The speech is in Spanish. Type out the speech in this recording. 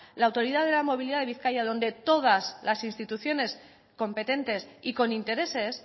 la autoridad de la movilidad de bizkaia donde todas las instituciones competentes y con intereses